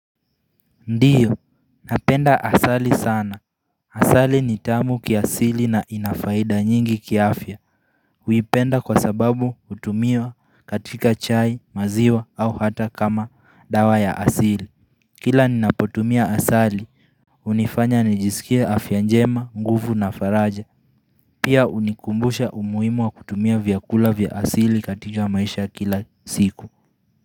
Ndiyo, napenda asali sana. Asali ni tamu kiasili na ina faida nyingi kiafya. Huipenda kwa sababu hutumiwa katika chai maziwa au hata kama dawa ya asili. Kila ninapotumia asali, hunifanya nijisikie afya njema, nguvu na faraja. Pia hunikumbusha umuhimu wa kutumia vyakula vya asili katika maisha ya kila siku.